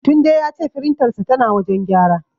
Tunde ya ce firintarsa tana wajen gyara.